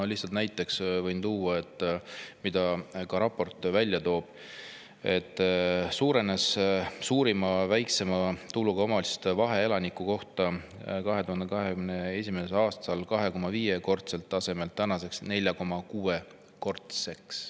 Lihtsalt näiteks võin tuua selle, mida ka raport välja toob, et suurenes suurima ja väikseima tuluga omavalitsuste vahe, arvestades tulu elaniku kohta: 2021. aasta 2,5‑kordne tase on tänaseks muutunud 4,6‑kordseks.